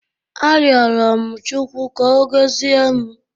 Arịọrọ m Chukwu ka Ọ gọzie m.